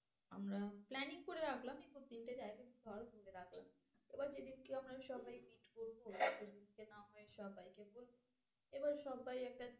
আমরা planning করে রাখলাম এই তিনটে জায়গা এবার যেদিনকে আমরা সবাই meet করবো সে দিনকে না হয় সবাইকে বলবো। আবার সব্বাই একটা